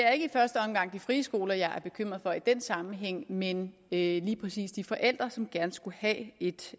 er ikke i første omgang de frie skoler jeg er bekymret for i den sammenhæng men lige præcis de forældre som gerne skulle have et